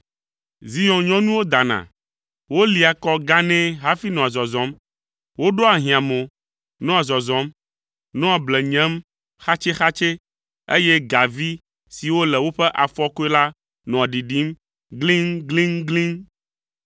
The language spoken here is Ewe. “Zion nyɔnuwo dana, wolia kɔ ganɛ hafi nɔa zɔzɔm. Woɖoa ahĩamo, nɔa zɔzɔm, nɔa ble nyem xatsɛxatsɛ, eye gavi siwo le woƒe afɔkɔe la nɔa ɖiɖim gliŋgliŋgliŋ.